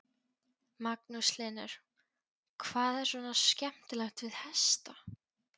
Magnús Hlynur: Hvað er svona skemmtilegt við hesta?